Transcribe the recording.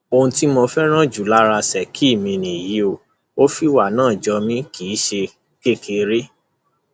ohun tí mo fẹràn jù lára ṣèkí mi nìyí ò fìwà náà jó mi kì í ṣe kékeré